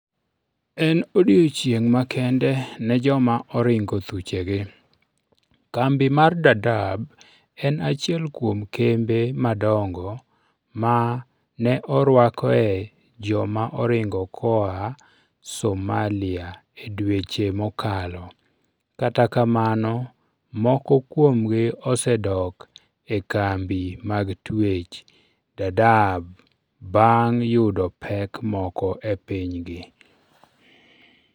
En odiechieng' makende ne joma oringo thuchegi Kambi mar Dadaab en achiel kuom kembe madongo ma ne orwakoe joma oringo koa Somalia e dweche mokalo. Kata kamano, moko kuomgi osedok e kambi mag twech. Dadaab, bang ' yudo pek moko e pinygi.